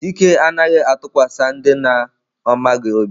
Chike anaghi atukwasi ndị na ọ maghị obi.